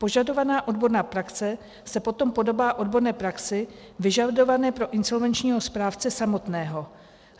Požadovaná odborná praxe se potom podobá odborné praxi vyžadované pro insolvenčního správce samotného.